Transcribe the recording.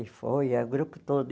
E foi, o grupo todo.